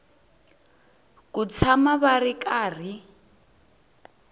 ku tshama va ri karhi